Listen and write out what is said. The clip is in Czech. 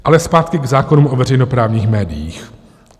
Ale zpátky k zákonům o veřejnoprávních médiích.